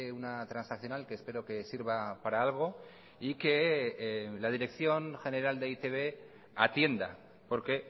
una transaccional que espero que sirva para algo y que la dirección general de e i te be atienda porque